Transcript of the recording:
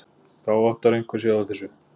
Þá áttar einhver sig á þessu.